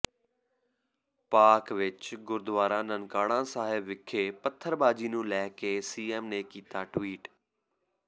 ਪਾਕਿ ਵਿਚ ਗੁਰਦੁਆਰਾ ਨਨਕਾਣਾ ਸਾਹਿਬ ਵਿਖੇ ਪੱਥਰਬਾਜੀ ਨੂੰ ਲੈ ਕੇ ਸੀਐਮ ਨੇ ਕੀਤਾ ਟਵਿਟ